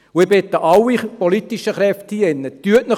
Ich bitte alle politischen Kräfte in diesem Saal: